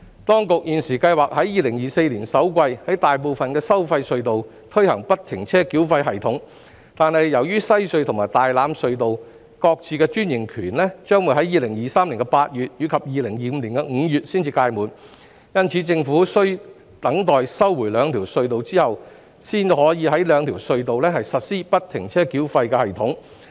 當局現時計劃在2024年首季於大部分收費隧道推行不停車繳費系統，但由於西隧和大欖隧道各自的專營權於2023年8月及2025年5月才屆滿，因此，政府需待收回兩條隧道後，才可在這兩條隧道實施不停車繳費系統。